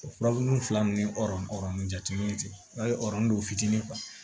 O furabulu fila ninnu ni jateminɛw de tɛ a ye ɔridonu don fitinin